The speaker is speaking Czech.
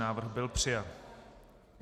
Návrh byl přijat.